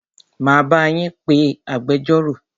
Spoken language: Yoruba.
Máa bá yín pé agbẹjọ́rò.